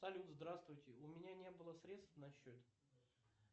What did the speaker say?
салют здравствуйте у меня не было средств на счете